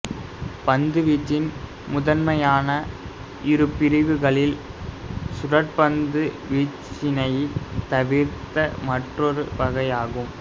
பந்துவீச்சின் முதன்மையான இருபிரிவுகளில் சுழற்பந்து வீச்சினைத் தவிர்த்த மற்றொரு வகையாகும்